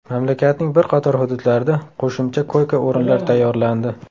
Mamlakatning bir qator hududlarida qo‘shimcha koyka o‘rinlar tayyorlandi.